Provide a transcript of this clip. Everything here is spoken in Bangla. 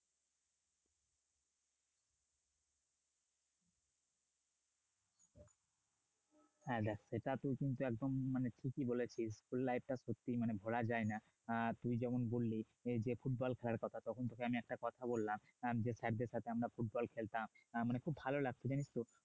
হ্যাঁ সেটা তুই কিন্তু একদম মানে ঠিকই বলেছিস school life টা সত্যিই মানে ভুলা যায় না আহ তুমি যেমন বললি এই যে ফুটবল খেলার কথা তখন তোকে আমি একটা কথা বললাম যে স্যারদের সাথে আমরা ফুটবল খেলতাম না মানে খুব ভালো লাগতো জানিস তো